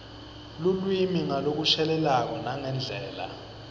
lulwimi ngalokushelelako nangendlela